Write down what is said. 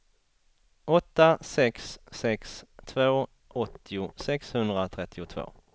åtta sex sex två åttio sexhundratrettiotvå